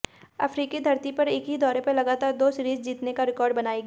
अफ्रीकी धरती पर एक ही दौरे पर लगातार दो सीरीज जीतने का रिकॉर्ड बनाएगी